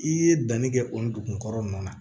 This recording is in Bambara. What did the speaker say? I ye danni kɛ o dugukɔrɔ ninnu na